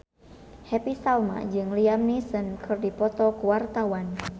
Happy Salma jeung Liam Neeson keur dipoto ku wartawan